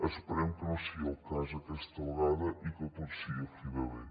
esperem que no sigui el cas aquesta vegada i que tot sigui a fi de bé